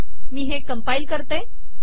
मी हे कंपाईल करते